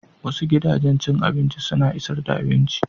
Wasu gidajen cin abinci suna isar da abinci.